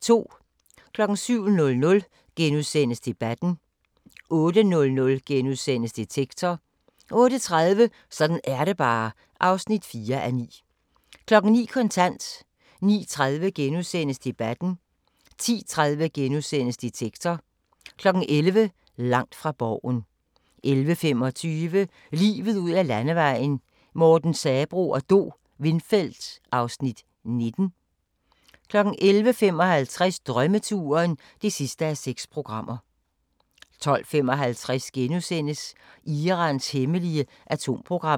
07:00: Debatten * 08:00: Detektor * 08:30: Sådan er det bare (4:9) 09:00: Kontant 09:30: Debatten * 10:30: Detektor * 11:00: Langt fra Borgen 11:25: Livet ud ad landevejen: Morten Sabroe og Do Windfeldt (Afs. 19) 11:55: Drømmeturen (6:6) 12:55: Irans hemmelige atomprogram *